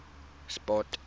sport